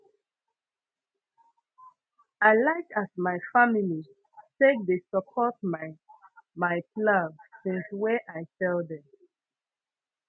i like as my family take dey support my my plans since wey i tell dem